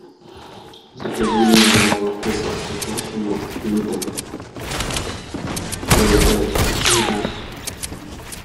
закажи мне молоко простоквашино литр два и пять жирности